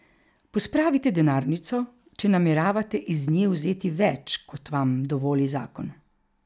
Pospravite denarnico, če nameravate iz nje vzeti več, kot vam dovoli zakon.